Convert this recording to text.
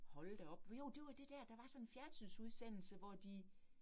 Hold da op, jo det var det dér, der var sådan en fjernsynsudsendelse, hvor de